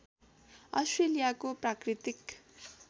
अस्ट्रेलियाको प्राकृतिक